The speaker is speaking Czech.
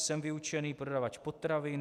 Jsem vyučený prodavač potravin.